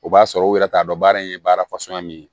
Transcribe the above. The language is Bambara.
O b'a sɔrɔ u yɛrɛ t'a dɔn baara in ye baara fasɔn min ye